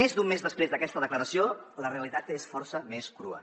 més d’un mes després d’aquesta declaració la realitat és força més crua